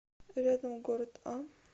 рядом город а